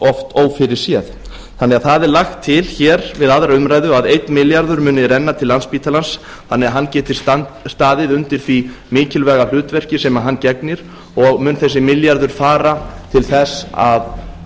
oft ófyrirséð þannig að það er lagt til hér við aðra umræðu að einn milljarður muni renna til landspítalans þannig að hann geti staðið undir því mikilvæga hlutverki sem hann gegnir og mun þessi milljarður fara til þess að